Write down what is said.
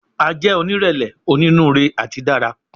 A jẹ onírẹlẹ, oninuure ati dara